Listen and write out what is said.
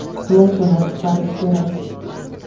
Xulosalar chiqarish kerak.